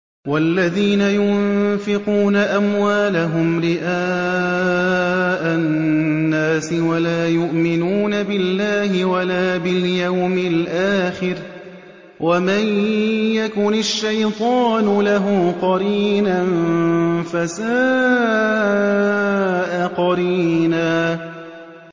وَالَّذِينَ يُنفِقُونَ أَمْوَالَهُمْ رِئَاءَ النَّاسِ وَلَا يُؤْمِنُونَ بِاللَّهِ وَلَا بِالْيَوْمِ الْآخِرِ ۗ وَمَن يَكُنِ الشَّيْطَانُ لَهُ قَرِينًا فَسَاءَ قَرِينًا